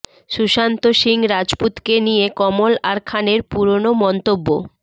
সুশান্ত সিং রাজপুতকে নিয়ে কমল আর খানের পুরনো মন্তব্য